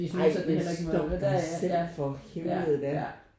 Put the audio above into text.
Ej men stop dig selv for helvede da